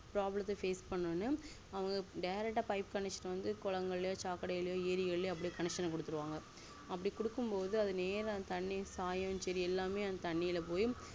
problem த்த face பண்ணனும்னு அவங்க direct ஆ pipeconnection வந்து ககுளம்கழிலோ சாக்கடையிலையோ ஏறி கலிலையோ connecion குடுத்துருவாங்கஅப்டி குடுக்கும்போது அது நேரதண்ணி சாயங்கள் எல்லாமே தண்ணில போய்